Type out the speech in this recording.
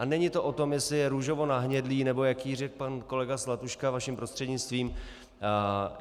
A není to o tom, jestli je růžovo-nahnědlý nebo jaký, jak řekl pan kolega Zlatuška vaším prostřednictvím.